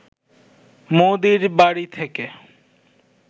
মোদির বাড়ি থেকে